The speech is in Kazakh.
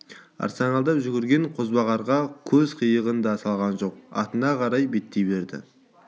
арсалаңдап жүгірген қозбағарға көз қиығын да салған жоқ атына қарай беттей берді